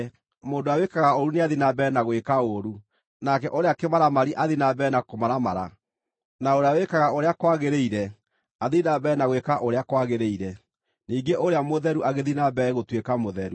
Mũndũ ũrĩa wĩkaga ũũru nĩathiĩ na mbere gwĩka ũũru, nake ũrĩa kĩmaramari athiĩ na mbere na kũmaramara; na ũrĩa wĩkaga ũrĩa kwagĩrĩire athiĩ na mbere gwĩka ũrĩa kwagĩrĩire; ningĩ ũrĩa mũtheru agĩthiĩ na mbere gũtuĩka mũtheru.”